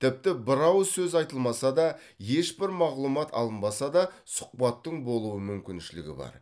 тіпті бір ауыз сөз айтылмаса да ешбір мағлұмат алынбаса да сұхбаттың болу мүмкіншілігі бар